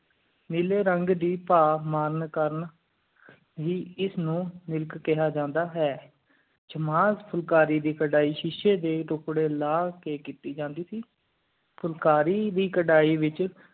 ਨੀਲੇ ਰੰਗ ਦੀ ਪਾਹ ਮਨ ਕਾਰਨ ਵੀ ਇਸ ਨੂੰ ਮਿਲਕ ਕਿਹਾ ਜਾਂਦਾ ਹੈ ਸ਼ਾਮ ਫੁਲਕਾਰੀ ਕਰਹਿ ਸ਼ੀਸ਼ੇ ਡੇ ਟੁਕੜੀ ਲਾ ਕ ਕੀਤੀ ਜਾਂਦੀ ਸੀ ਫੁਲਕਾਰੀ ਦੀ ਕਰਹਿ ਵਿਚ